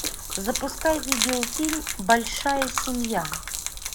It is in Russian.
запускай видеофильм большая семья